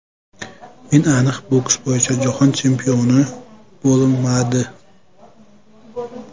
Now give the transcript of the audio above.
Men aniq boks bo‘yicha Jahon chempioni bo‘lmadi.